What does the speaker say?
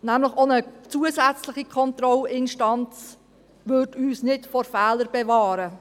Auch eine zusätzliche Kontrollinstanz würde uns nämlich nicht vor Fehlern bewahren.